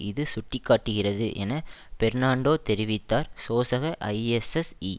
இது சுட்டி காட்டுகிறது என பெர்ணான்டோ தெரிவித்தார் சோசக ஐஎஸ்எஸ்ஈ